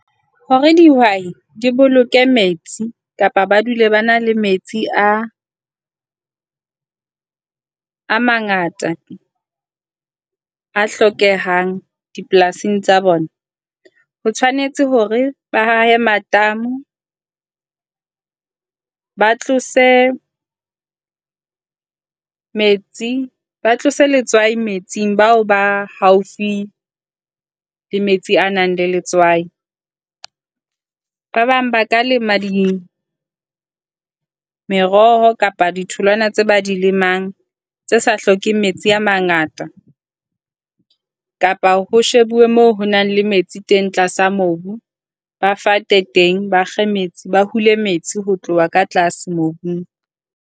Hore dihwai di boloke metsi kapa ba dule ba na le metsi a a mangata, a hlokehang dipolasing tsa bona, ho tshwanetse hore ba ahe matamo. Ba tlose letswai metsing, ba tlose letswai metsing, bao ba haufi le metsi a nang le letswai. Ba bang ba ka lema di meroho kapa ditholwana tse ba dilemang tse sa hlokeheng metsi a mangata kapa ho shebuwe moo ho na le metsi teng tlasa mobu. Ba fate teng ba kge metsi, ba hule metsi ho tloha ka tlase mobung.